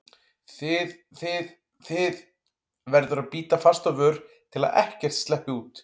þið þið, þið- verður að bíta fast á vör til að ekkert sleppi út.